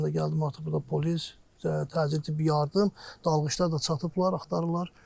Mən də gəldim, artıq burda polis təcili tibbi yardım, dalğıçlar da çatıblar, axtarırlar.